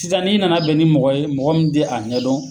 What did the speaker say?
Sisan ni nana bɛn ni mɔgɔ ye ,mɔgɔ mun te a ɲɛ dɔn